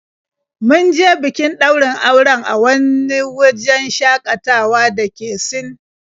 Mun je bikin ɗaurin auren a wani wajen shaƙatawa da ke Sin.